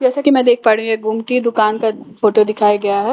जैसे कि मैं देख पा रही हूं एक गोमती दुकान का फोटो दिखाया गया है।